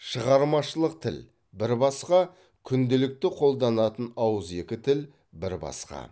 шығармашылық тіл бір басқа күнделікті қолданатын ауызекі тіл бір басқа